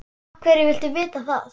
Af hverju viltu vita það?